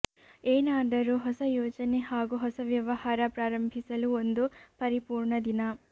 ಏನಾದರೂ ಹೊಸ ಯೋಜನೆ ಹಾಗೂ ಹೊಸ ವ್ಯವಹಾರ ಪ್ರಾರಂಭಿಸಲು ಒಂದು ಪರಿಪೂರ್ಣ ದಿನ